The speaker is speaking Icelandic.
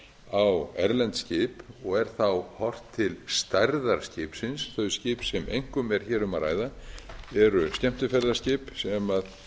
á erlend skip og er þá horft til stærðar skipsins þau skip sem einkum er hér um að ræða eru skemmtiferðaskip sem